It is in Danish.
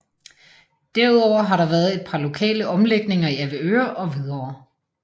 Derudover har der været et par lokale omlægninger i Avedøre og Hvidovre